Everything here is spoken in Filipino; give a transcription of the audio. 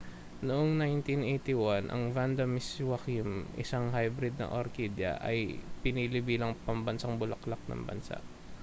noong 1981 ang vanda miss joaquim isang hybrid na orkidya ay pinili bilang pambansang bulaklak ng bansa